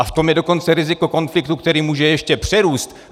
A v tom je dokonce riziko konfliktu, který může ještě přerůst!